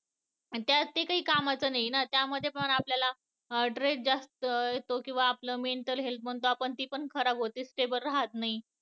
त्या असते कामाचं नाही ना त्या मध्ये पण आपल्याला stress जास्त येतो, आपली mental health म्हणतो खराब होते stable राहत नाही